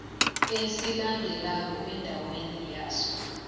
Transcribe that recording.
esilandelako endaweni yaso